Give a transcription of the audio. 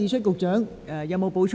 局長，你有否補充？